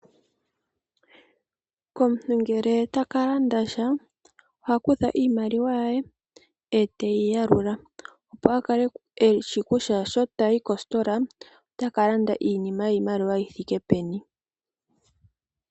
Komuntu ngele otaka landa sha, oha kutha iimaliwa ye, eteyi yalula, opo a kale eshishi kutya sho tayi kositola otaka landa iinima yiimaliwa yi thike peni.